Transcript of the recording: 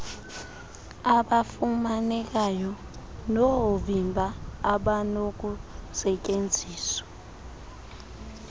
abafumanekayo noovimba abanokustyenziswa